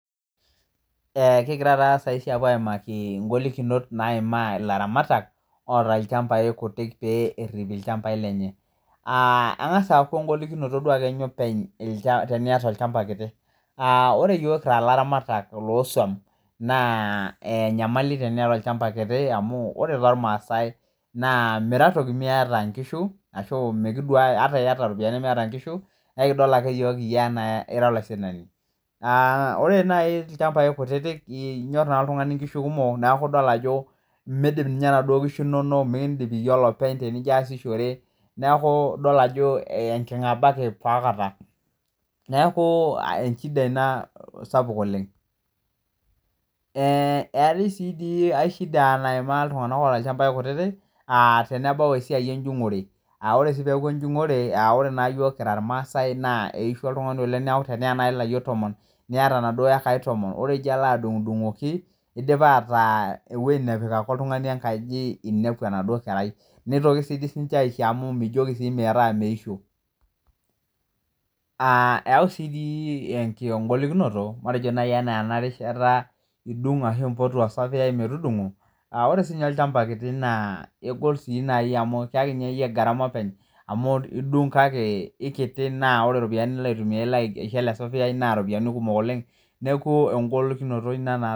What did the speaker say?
Kigira taa saisi aapuo aimaki ingolokinot naimaa laramatak oota ilchambai kutiik pee erip ilchambai lenye. Angas aaaku ingolikinot duo ninye openy tenieta ilchamba kiti, ore yook kirs laramatak loo siom naa enyamali tenieta ilchamba kiti amu ore te ilmaasai naa mira toki imieta inkishu ashu mikuda ata ieta iropiyiani nimieta inkishu, naa ekidol ake yook iyie neaa ira laisinani. Naa ore nai ilchambai kutitik inyor ake ltungani inkishu kumok naaku idol ajo meidim ninye enaduo nkishu inono, mikiindip ninye iyie openye tinijo aasishore, naaku idol ajo enking'abaki ta aikata, naaku eshida ina sapuk oleng. Etii sii dii inkae ishida naimaa ltunganak oota ilchambai kutitik aa tenebau esiai enjung'ore,a ore sii peaku enjung'ore, ore naa yiook kira ilmaasai naa eishua oltungani oleng, neaku teneya nai tomon, nieata enaduo ekai tomon, ore tenijo alo adung'dung'oki eidipa ataa eweji napik ake oltungani enkaji einiapu enaduo kerai, neitoki sii ninche aisho amu mijoki sii metaa meisho. Eyau sii engolikinoto matejo nai anaa ena rishata idung' ake ashu impotu osaveyai metudung'o, ore sii ninye olchamba kiti naa egol sii nai amu kieki naii ninye iyie garama openy amu diung' kake ekiti naa ore iropiyiani nilo aitumiya aisho ale saveyai naa iropiyaini kumok oleng, neaku engolinikinoto ina.